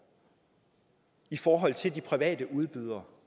i forhold til de private udbydere